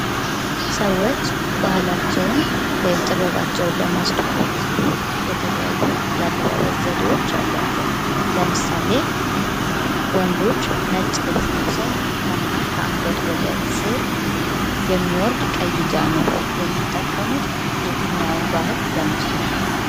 ሰዎች ባህላቸው ወይም ጥበባቸውን ለማስተዋውቅ ሲሉ የተለያዩ የአለባበስ ዘዴዎች አሏቸው፤ ለምሳሌ ወንዶች ነጭ ልብስ ለብሰው ከመሃል ከአንገት ስር የሚወርድ ቀይ ጃኖ የሚጠቀሙት የትኛውን ባህል ለማስተዋወቅ ነው?